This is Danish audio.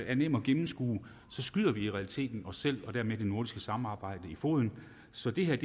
er nemt at gennemskue skyder vi i realiteten os selv og dermed det nordiske samarbejde i foden så det her